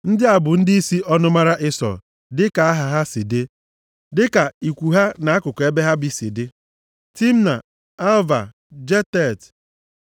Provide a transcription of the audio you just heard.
Ndị a bụ ndịisi ọnụmara Ịsọ, dịka aha ha si dị, dịka ikwu ha na akụkụ ebe ha bi si dị: Timna, Alva, Jetet,